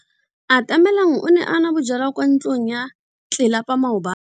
Atamelang o ne a nwa bojwala kwa ntlong ya tlelapa maobane.